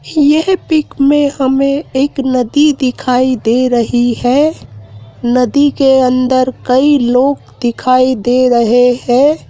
यह पिक में हमें एक नदी दिखाई दे रही है। नदी के अंदर कई लोग दिखाई दे रहे हैं।